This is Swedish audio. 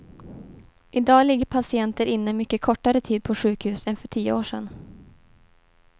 I dag ligger patienter inne mycket kortare tid på sjukhus än för tio år sedan.